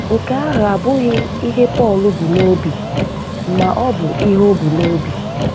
Nke ahụ abụghị ihe Pọl bu n’obi ma ọ bụ ihe o bu n’obi.